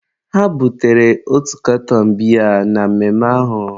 ha butere otu katọn biya na mmemme ahụ